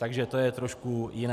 Takže to je trošku jiné.